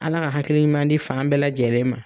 Ala ka hakili ɲuman di fan bɛɛ lajɛlen ma.